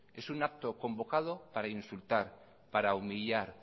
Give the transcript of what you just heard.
es un acto convocado para insultar para humillar